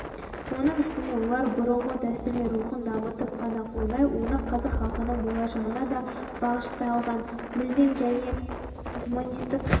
оның үстіне олар бұрынғы дәстүрлер рухын дамытып қана қоймай оны қазақ халқының болашағына да бағышталған мүлдем жаңа гуманистік